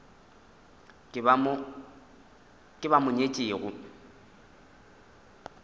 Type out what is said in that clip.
ke ba ba mo nyetšego